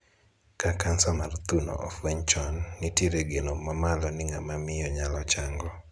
Ka Kansa mar thuno ofweny chon, nitie geno mamalo ni ng'ama miyo nyalo chango.